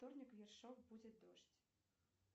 вторник ершов будет дождь